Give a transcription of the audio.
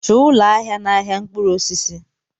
Chọọ ụlọ ahịa n'ahịa mkpụrụ osisi!